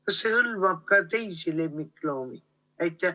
Kas see hõlmab ka teisi lemmikloomi?